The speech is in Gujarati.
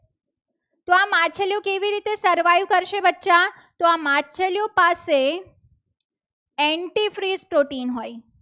તો આ માછલીઓ પાસે antifreeze protein હોય.